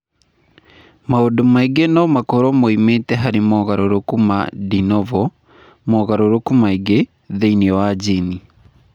Maũndũ mangĩ no makorũo moimĩte harĩ mogarũrũku ma de novo (mogarũrũku mangĩ) thĩinĩ wa jini.